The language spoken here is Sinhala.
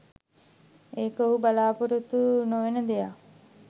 ඒක ඔහු බලාපොරොත්තු නොවෙන දෙයක්